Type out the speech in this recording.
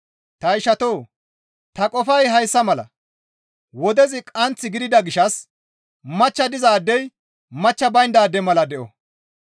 Ta ishatoo! Ta qofay hayssa mala; wodezi qaanth gidida gishshas machcha dizaadey machcha bayndaade mala de7o.